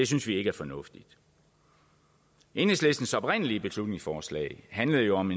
synes vi ikke er fornuftigt enhedslistens oprindelige beslutningsforslag handlede jo om